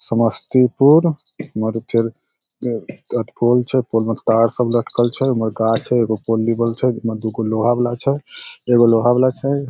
Samastipur pole छै pole मे तार सब लटकल छै उम्हर गाछ हेय एगो पोल लिबल छै ओय मे दूगो लोहा वाला छै एगो लोहा वाला छै।